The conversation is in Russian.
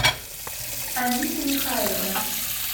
анита михайловна